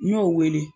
N y'o wele